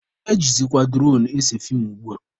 Ejizikwa duronu ese feem ugbua.